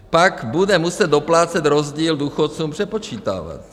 Pak bude muset doplácet, rozdíl důchodcům přepočítávat.